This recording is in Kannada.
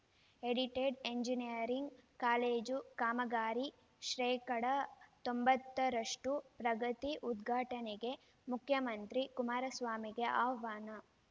ಎಡಿಟೆಡ್‌ ಎಂಜಿನಿಯರಿಂಗ್‌ ಕಾಲೇಜು ಕಾಮಗಾರಿ ಶ್ರೇಕಡಾ ತೊಂಬತ್ತರಷ್ಟುಪ್ರಗತಿ ಉದ್ಘಾಟನೆಗೆ ಮುಖ್ಯಮಂತ್ರಿ ಕುಮಾರಸ್ವಾಮಿಗೆ ಆಹ್ವಾನ